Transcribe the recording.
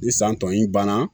Ni san tɔ in banna